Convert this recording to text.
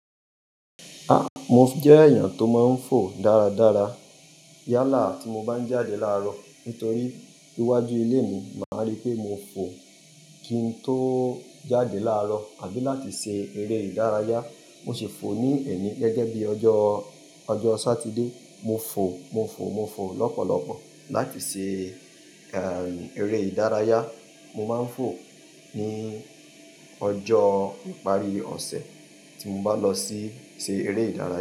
A! Mo jẹ́ èèyàn tó máa ń fò dáradára. Yálà tí mo bá ń jáde láàrọ̀ nítorí iwájú ilé mi máa rí pé mo fò kín tó jáde láàrọ̀ àbí láti ṣe eré ìdárayá. Mo sì fò ní ẹni gẹ́gẹ́ bí ọjọ́, ọjọ́ Satide. Mo fò, mo fò, mo fò lọ́pọ̀lọpọ̀ láti ṣe, eré ìdárayá. Mo máa ń fò ní ọjọ́ ìparí ọ̀sẹ̀ tí mo bá lọ sí ṣe eré ìdárayá.